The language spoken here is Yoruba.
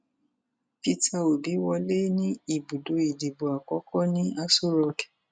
peter obi wọlé ní ibùdó ìdìbò àkọkọ ní aṣọ rock